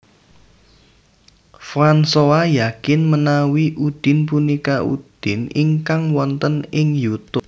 Fransoa yakin menawi Udin punika Udin ingkang wonten ing Youtube